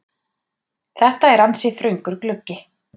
Þetta er ansi þröngur gluggi.